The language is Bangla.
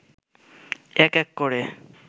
এক এক করে